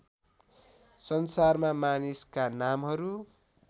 संसारमा मानिसका नामहरू